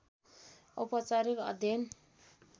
औपचारिक अध्ययन